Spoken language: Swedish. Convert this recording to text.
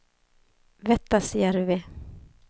Vettasjärvi